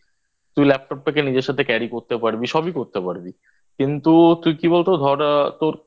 তুই Laptop টাকে নিজের সাথে Carry করতে পারবি সবই করতে পারবি কিন্তু তুই কি বলতো ধর তোর